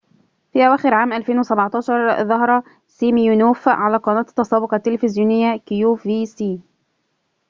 في أواخر عام 2017 ظهر سيمينوف على قناة التسوق التلفزيونية كيو في سي